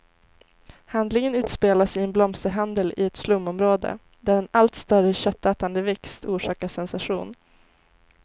Handlingen utspelas i en blomsterhandel i ett slumområde, där en allt större köttätande växt orsakar sensation.